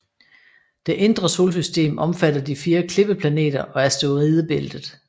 Det indre solsystem omfatter de fire klippeplaneter og asteroidebæltet